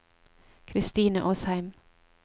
Kristine Åsheim